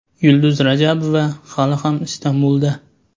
Yulduz Rajabova hali ham Istanbulda.